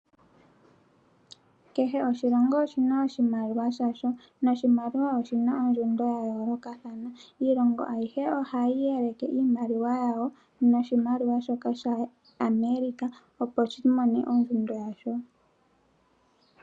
Kehe oshilongo oshina oshimaliwa shasho, noshimaliwa oshina ondjundo ya yoolokathana, iilongo ayihe ohayi yeleke iimaliwa yawo noshimaliwa shoka sha America opo shi mone ondjundo yasho